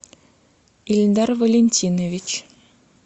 ильдар валентинович